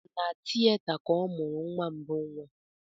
Na tieta ka ọ mụrụ nwa mbụ nwa